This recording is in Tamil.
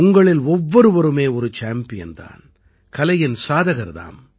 உங்களில் ஒவ்வொருவருமே ஒரு சாம்பியன் தான் கலையின் சாதகர் தாம்